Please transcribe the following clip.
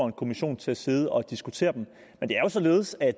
en kommission til at sidde og diskutere dem men det er jo således at